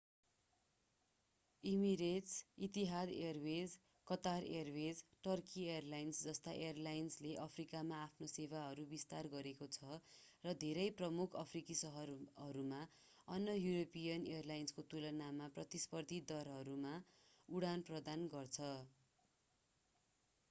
emirates Etihad airways Qatar airways र Turkey airlines जस्ता एयरलाइन्सले अफ्रिकामा आफ्नो सेवाहरूको विस्तार गरेको छ र धेरै प्रमुख अफ्रिकी शहरहरूमा अन्य यूरोपीयन एयरलाइन्सको तुलनामा प्रतिस्पर्धी दरहरूमा उडान प्रदान गर्छ